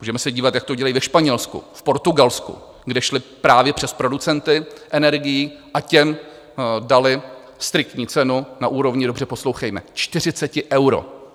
Můžeme se dívat, jak to dělají ve Španělsku, v Portugalsku, kde šli právě přes producenty energií a těm dali striktní cenu na úrovni - dobře poslouchejme - 40 eur.